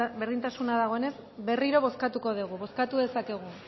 berdintasuna dagoenez berriro bozkatuko dugu bozkatu dezakegu